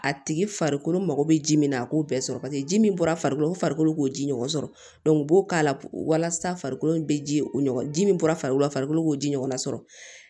A tigi farikolo mako bɛ ji min na a k'o bɛɛ sɔrɔ paseke ji min bɔra farikolo la u farikolo k'o ji ɲɔgɔn sɔrɔ u b'o k'a la walasa farikolo in bɛ ji o ji min bɔra farikolo la farikolo k'o ji ɲɔgɔnna sɔrɔ